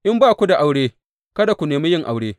In ba ku da aure, kada ku nemi yin aure.